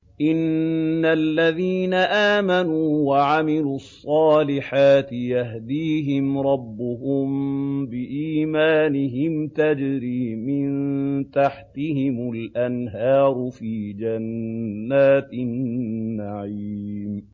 إِنَّ الَّذِينَ آمَنُوا وَعَمِلُوا الصَّالِحَاتِ يَهْدِيهِمْ رَبُّهُم بِإِيمَانِهِمْ ۖ تَجْرِي مِن تَحْتِهِمُ الْأَنْهَارُ فِي جَنَّاتِ النَّعِيمِ